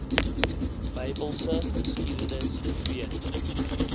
bybelse geskiedenis weet